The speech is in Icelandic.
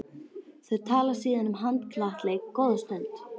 Þau tala síðan um handknattleik góða stund.